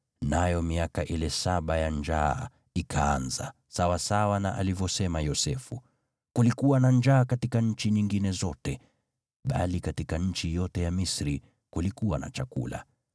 nayo miaka ile saba ya njaa ikaanza, sawasawa na alivyosema Yosefu. Kulikuwa na njaa katika nchi nyingine zote, bali katika nchi yote ya Misri kulikuwa na chakula.